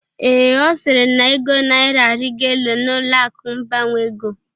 Ee, Ọ sịrị na ego naira arịgo elu n'ụlọ akụ mbanwe ego